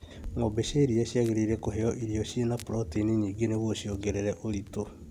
Ng'ombe cia iria ciagĩrirwo kũheo irio cina protaini nyingĩ nĩguo ciongere ũritu